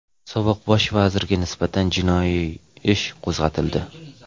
Sobiq Bosh vazirga nisbatan jinoiy ish qo‘zg‘atildi.